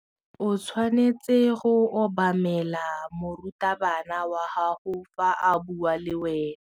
O tshwanetse go obamela morutabana wa gago fa a bua le wena.